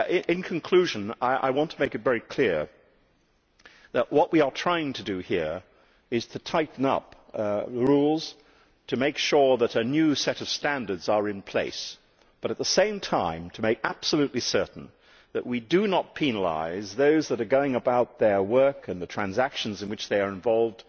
In conclusion I want to make it very clear that what we are trying to do here is to tighten up rules to make sure that a new set of standards is in place but, at the same time, to make absolutely certain that we do not penalise those that are going about their work and the transactions in which they are involved